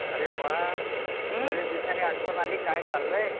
अरे वाह बरेच दिवसांनी आठवण आली, काय चाललंय